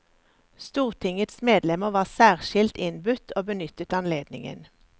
Stortingets medlemmer var særskilt innbudt og benyttet anledningen.